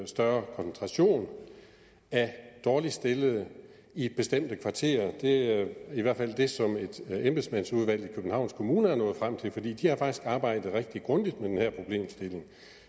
større koncentration af dårligt stillede i bestemte kvarterer det er i hvert fald det som et embedsmandsudvalg i københavns kommune er nået frem til fordi de har faktisk arbejdet rigtig grundigt med den her problemstilling